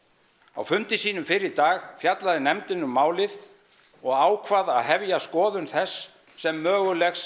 á fundi sínum fyrr í dag fjallaði nefndin um málið og ákvað að hefja skoðun þess sem mögulegs